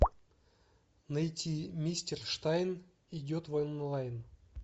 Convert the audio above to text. найти мистер штайн идет в онлайн